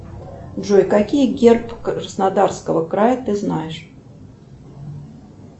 джой какие герб краснодарского края ты знаешь